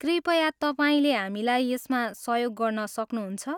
कृपया तपाईँले हामीलाई यसमा सहयोग गर्न सक्नुहुन्छ?